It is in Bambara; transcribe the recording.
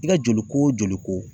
I ka joli ko joli ko